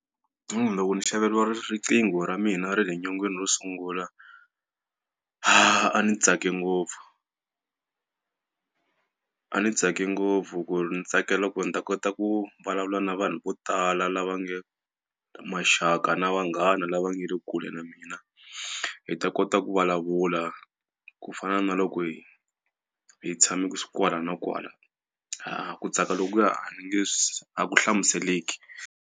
loko ni xaveriwa riqingho ra mina ra le nyongeni ro sungula, a ni tsake ngopfu a ni tsake ngopfu ku ri ni tsakela ku ni ta kota ku vulavula na vanhu vo tala lava maxaka na vanghana lava nga le kule na mina. Hi ta kota ku vulavula ku fana na loko hi hi tshame kwala na kwala. A ku tsaka lokuya a ni nge a ku hlamuseleki.